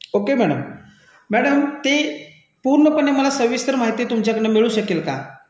Okay madam , madam ते पूर्णपणे सविस्तर माहिती मला तुमच्याकडून मिळू शकेल का?